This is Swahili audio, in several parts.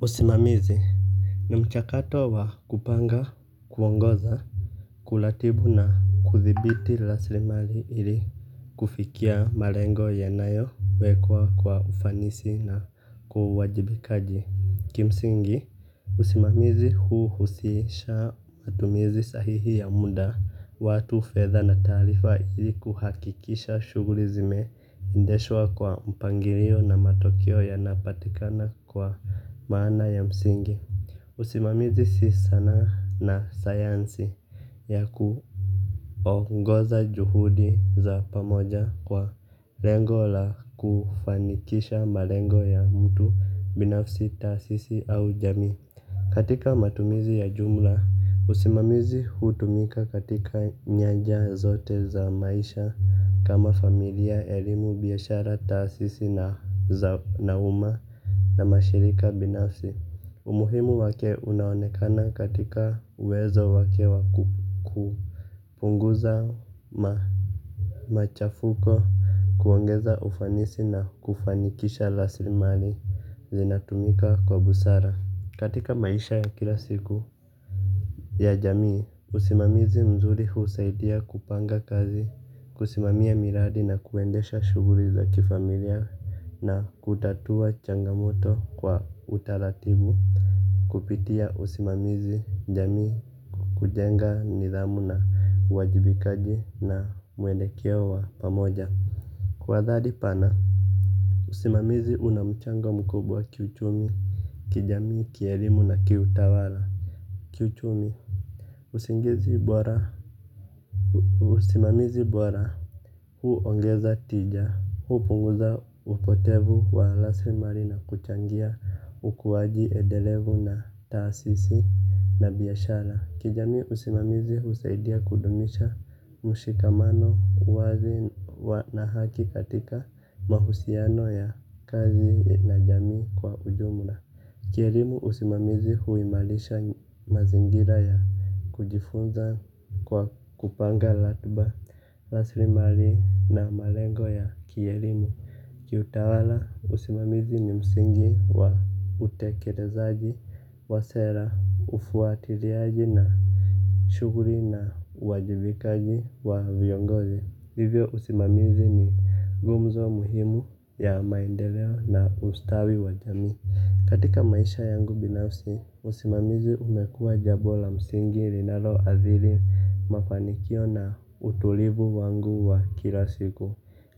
Usimamizi ni mchakato wa kupanga kuongoza kuratibu na kuthibiti rasilimali ili kufikia malengo yanayowekwa kwa ufanisi na kwa uwajibikaji kimsingi. Usimamizi huu huhusisha matumizi sahihi ya muda watu fedha na taarifa ili kuhakikisha shughuli zimendeshwa kwa mpangilio na matokeo yanapatikana kwa maana ya msingi. Usimamizi si sanaa na sayansi ya kuongoza juhudi za pamoja kwa lengo la kufanikisha malengo ya mtu binafsi taasisi au jamii. Katika matumizi ya jumla, usimamizi hutumika katika nyanja zote za maisha kama familia, elimu, biashara, taasisi na nauma na mashirika binafsi. Umuhimu wake unaonekana katika uwezo wake wa kupunguza machafuko kuongeza ufanisi na kufanikisha rasilimali zinatumika kwa busara. Katika maisha ya kila siku ya jamii, usimamizi mzuri husaidia kupanga kazi. Kusimamia miradi na kuendesha shughuli za kifamilia. Na kutatua changamoto kwa utaratibu kupitia usimamizi jamii kwa kujenga nidhamu na uwajibikaji na mwelekeo wa pamoja kwa adhari pana usimamizi huna mchango mkubwa kiuchumi kijamii kielimu na kiutawala. Kiuchumi usimamizi bora huongeza tija. Hupunguza upotevu wa lasi marina kuchangia ukuwaji edelevu na taasisi na biyashara. Kijami usimamizi usaidia kudumisha mushikamano wazi na haki katika mahusiano ya kazi na jamii kwa ujumla. Kielimu usimamizi huimarisha mazingira ya kujifunza kwa kupanga ratuba, rasilimali na malengo ya kielimu. Kiutawala usimamizi ni msingi wa utekelezaji wa sera, ufuatiliaji na shughuli na uwajibikaji wa viongozi hivyo usimamizi ni gumzo muhimu ya maendeleo na ustawi wa jamii. Katika maisha yangu binafsi, usimamizi umekua jambo la msingi linalo adhiri mafanikio na utulivu wangu wa kila siku.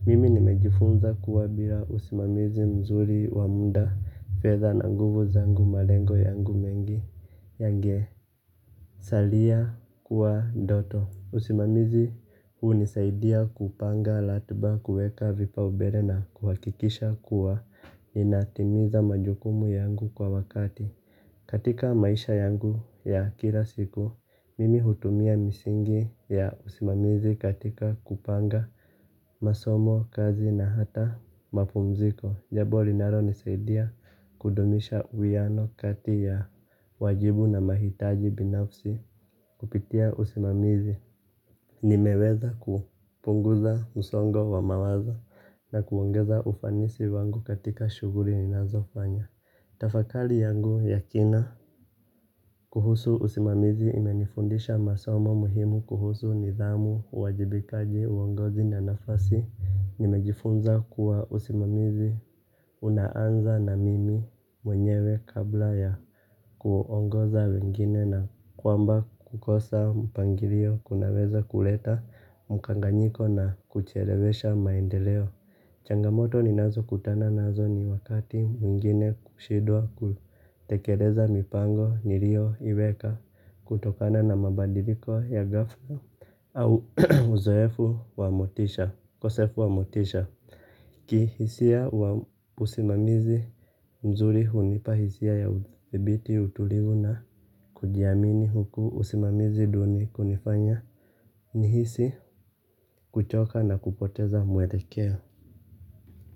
Mimi nimejifunza kuwa bila usimamizi mzuri wa muda fedha na nguvu zangu malengo yangu mengi yangesalia kuwa ndoto. Usimamizi unisaidia kupanga ratuba kueka vipaumbele na kuhakikisha kuwa inatimiza majukumu yangu kwa wakati. Katika maisha yangu ya kila siku, mimi hutumia misingi ya usimamizi katika kupanga masomo kazi na hata mapumziko. Jambo linalo nisaidia kudumisha uwiano kati ya wajibu na mahitaji binafsi kupitia usimamizi. Nimeweza kupunguza msongo wa mawazo na kuongeza ufanisi wangu katika shughuli n inazofanya. Tafakari yangu ya kina kuhusu usimamizi imenifundisha masoma muhimu kuhusu nidhamu, wajibikaji, uongozi na nafasi. Nimejifunza kuwa usimamizi unaanza na mimi mwenyewe kabla ya kuongoza wengine na kwamba kukosa mpangilio kunaweza kuleta mkanganyiko na kuchelewesha maendeleo. Changamoto ninazo kutana nazo ni wakati mwingine kushindwa kutekeleza mipango niliyoiweka kutokana na mabadiliko ya ghafla au ukosefu wa motisha kihisia usimamizi mzuri hunipa hisia ya udhibiti utulivu na kujiamini huku usimamizi duni kunifanya nihisi kuchoka na kupoteza mwelekeo.